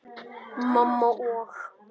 Mamma og